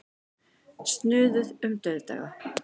Snuðuð um dauðdaga.